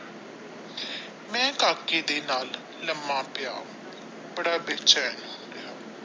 ਮੈ ਕਾਕੇ ਦੇ ਨਾਲ ਬੜਾ ਬੇਚੈਨ।